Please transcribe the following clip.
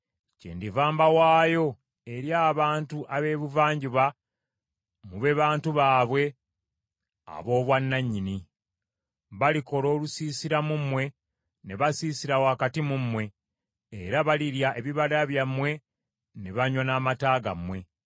kyendiva mbawaayo eri abantu ab’Ebuvanjuba mube bantu baabwe ab’obwannanyini. Balikola olusiisira mu mmwe ne basiisira wakati mu mmwe, era balirya ebibala byammwe ne banywa n’amata gammwe.